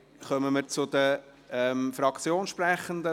Wir kommen zu den Fraktionssprechenden.